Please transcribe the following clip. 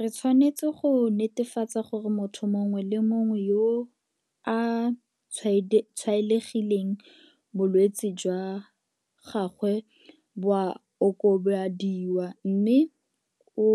Re tshwanetse go netefatsa gore motho mongwe le mongwe yo a tshwaetsegileng bolwetse jwa gagwe bo a okobadiwa mme o